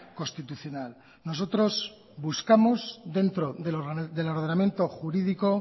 constitucional nosotros buscamos dentro del ordenamiento jurídico